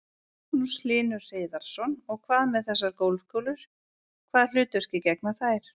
Magnús Hlynur Hreiðarsson: Og hvað með þessar golfkúlur, hvaða hlutverki gegna þær?